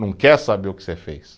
Não quer saber o que você fez.